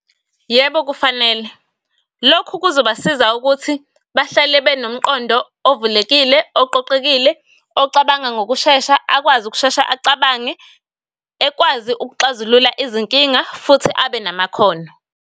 Yebo, kufanele. Lokhu kuzobasiza ukuthi bahlale benomqondo ovulelekile, oqoqekile, ocabanga ngokushesha, akwazi ukushesha acabange, ekwazi ukuxazulula izinkinga, futhi abe namakhono.